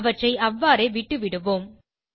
அவற்றை அவ்வாறே விட்டுவிடுவோம்